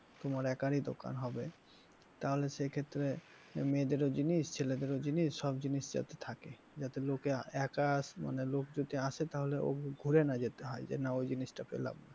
তোমার একারি দোকান হবে তাহলে সে ক্ষেত্রে মেয়েদেরও জিনিস ছেলেদেরও জিনিস সব জিনিস যাতে থাকে যাতে লোকে একা মানে লোক যদি আসে তাহলে ঘুরে না যেতে হয়, যে না ওই জিনিসটা পেলাম না।